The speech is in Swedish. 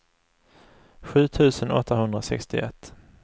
sju tusen åttahundrasextioett